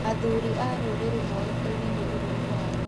Athuri a rũrĩrĩ moĩkazine nĩ ũrũme wao.